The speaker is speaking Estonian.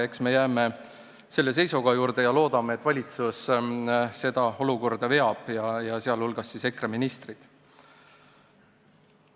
Nii et jääme selle seisukoha juurde ja loodame, et valitsus seda olukorda veab, sh EKRE ministrid.